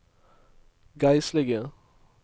geistlige